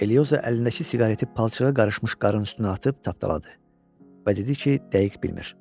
Eliozo əlindəki siqareti palçığa qarışmış qar üstünə atıb tapdaladı və dedi ki, dəqiq bilmir.